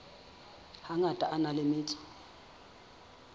hangata a na le metso